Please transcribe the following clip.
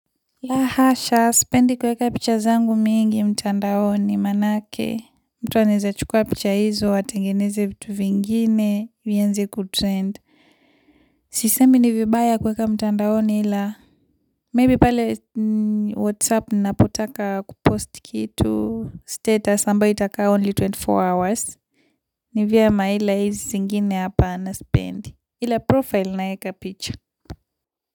La hasha, sipendi kuweka picha zangu mingi mtandaoni maanake, mtu anawezachukua picha hizo, atengeneze vitu vingine, vianze kutrend. Sisemi ni vibaya kuweka mtandaoni ila, maybe pale whatsapp ninapotaka kupost kitu status, ambayo itakaa only ishirini na nne hours. Ni vyema ila hizi zingine hapa sipendi. Ila profile naeka picha.